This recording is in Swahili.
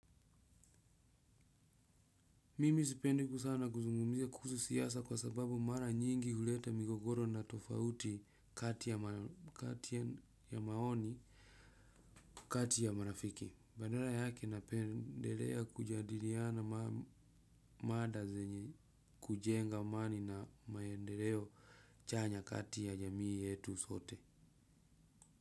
Mimi sipendi sana kuzungumzia kuhusu siasa kwa sababu mara nyingi huleta migogoro na tofauti kati ya maoni kati ya marafiki. Badara yake napendelea kujadiriana mada zenye kujenga mani na maendeleo chanya kati ya jamii yetu sote.